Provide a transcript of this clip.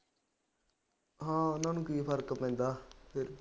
ਹਾਂ ਉਹਨਾ ਨੂੰ ਕੀ ਫਰਕ ਪੈਂਦਾ ਫੇਰ ਵੀ